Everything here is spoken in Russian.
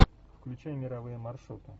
включай мировые маршруты